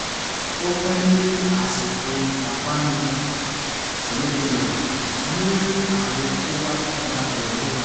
ó pé ni àsìkò ìpápánu; mú àwo kó wá darapọ̀ mọ́ wa